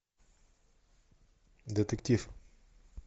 детектив